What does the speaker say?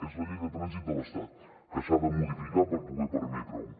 és la llei de trànsit de l’estat que s’ha de modificar per poder permetre ho